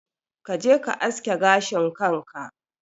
Kaje ka aske gashin kanka